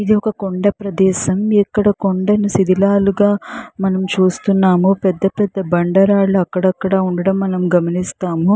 ఇది ఒక కొండా ప్రదేసం ఇక్కడ కొండని శిథిలాలుగా మనం చూస్తున్నాం పెద్ద పెద్ద బాండ రాళ్లు అక్కడక్కడా ఉండటం మనం గమనిస్తాము.